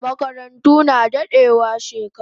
Makarantu na dadewa shekaru